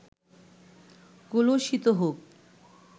কলুষিত হোক